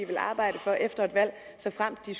vil arbejde for efter et valg såfremt de